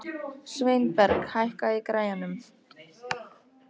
Sveinberg, hækkaðu í græjunum.